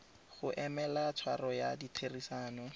go emela tshwaro ya ditherisano